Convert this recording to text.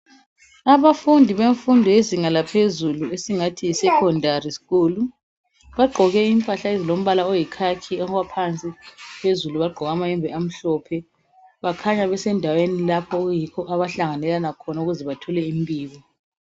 abafundi bemfundo yezinga laphezulu esingathi yi secondary school bagqoke impahla ezilombala oyikhakhi phansi phezulu bagqoke amayembe amhlophe bakhanya besendaweni lapha abayikho abahlanganela kho ukuze bathole imbiko